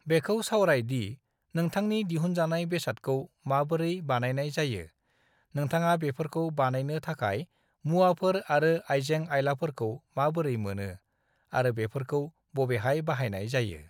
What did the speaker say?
"बेखौ सावराय दि नोंथांनि दिहुनजानाय बेसादखौ माबोरै बानायनाय जायो, नोंथाङा बेफोरखौ बानायनो थाखाय मुवाफोर आरो आइजें-आइलाफोरखौ माबोरै मोनो, आरो बेफोरखौ बबेहाइ बानायनाय जायो।"